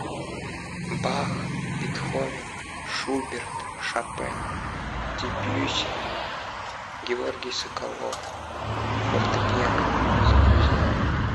бах бетховен шуберт шопен дебюсси георгий соколов фортепиано загрузи